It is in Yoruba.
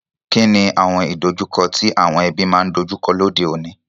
Kíni àwon ìdojúko ti àwon ebí ma n dojúko lóde ọ̀ní?